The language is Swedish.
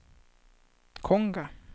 Konga